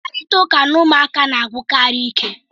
Mkparịta ụka na ụmụaka na-agwụkarị ike